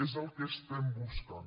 és el que estem buscant